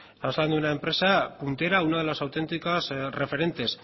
pasando una empresa puntera una de las auténticas referentes